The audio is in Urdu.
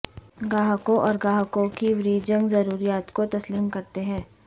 گاہکوں اور گاہکوں کی وریجنگ ضروریات کو تسلیم کرتے ہیں